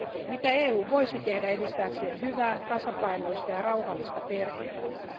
Mitä EU voisi tehdä edistääkseen hyvää, tasapainoista ja rauhallista perhe elämää?